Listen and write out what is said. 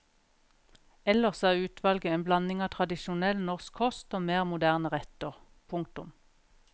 Ellers er utvalget en blanding av tradisjonell norsk kost og mer moderne retter. punktum